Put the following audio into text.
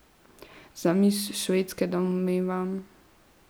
Z miss Švedske, domnevam.